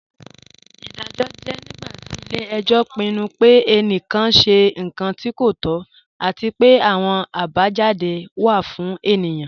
Iḍajọ jẹ̀ nígbàtí ilẹ̀-ẹ̀jọ pinnu pẹ̀ ènìkán ṣẹ̀ nkàn tí kò tọ̀, àti pẹ̀ àwọn àbájádé wa fún ènìyẹn.